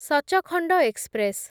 Sachkhand express